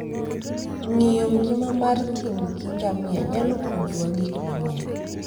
Ng'iyo ngima mar thim gi ngamia nyalo puonjowa gik mang'eny.